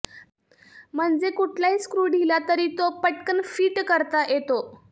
म्हणजे कुठलाही स्क्रू ढिला तरी तो पटकन फिट करता येतो